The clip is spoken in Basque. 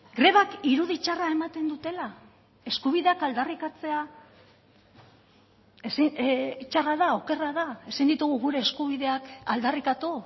grebak irudi txarra ematen dutela eskubideak aldarrikatzea txarra da okerra da ezin ditugu gure eskubideak aldarrikatu